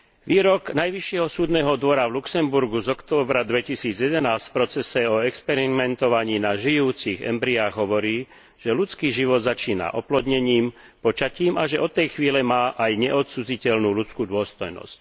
Výrok Najvyššieho súdneho dvora v Luxemburgu z októbra 2011 v procese o experimentovaní na žijúcich embryách hovorí, že ľudský život začína oplodnením, počatím a že od tej chvíle má aj neodcudziteľnú ľudskú dôstojnosť.